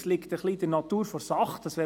Es liegt in der Natur der Sache: